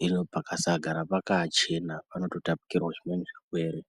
hino pakasagara pakachena panototapukirawo zvimweni zvirwere.